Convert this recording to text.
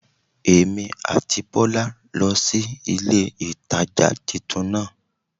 Èmí àti Bólá lo sí ilé ìtajà titun náà